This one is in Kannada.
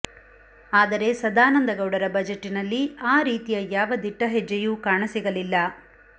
ಆದರೆ ಸದಾನಂದಗೌಡರ ಬಜೆಟ್ಟಿನಲ್ಲಿ ಆ ರೀತಿಯ ಯಾವ ದಿಟ್ಟ ಹೆಜ್ಜೆಯೂ ಕಾಣಸಿಗಲಿಲ್ಲ